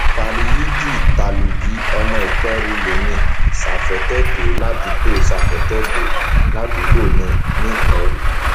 veryideen talubi ọmọ ìperú lèmi safetedo ládùúgbò safetedo ládùúgbò mi nìperu